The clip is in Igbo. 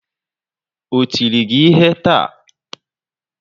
O tiri gị ihe taa?